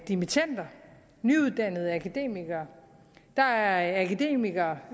dimittender nyuddannede akademikere der er akademikere